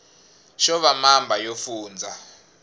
xo va mamba yo fundza